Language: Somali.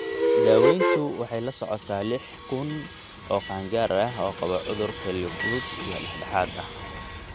CRIC waxay la socotaa lix kuun oo qaangaar ah oo qaba cudur kelyo fudud iyo dhexdhexaad ah.